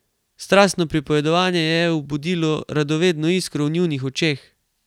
Strastno pripovedovanje je budilo radovedno iskro v njunih očeh.